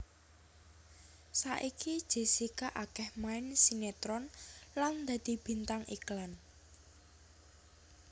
Saiki Jessica akéh main sinetron lan dadi bintang iklan